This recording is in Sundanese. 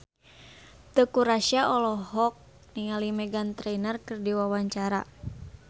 Teuku Rassya olohok ningali Meghan Trainor keur diwawancara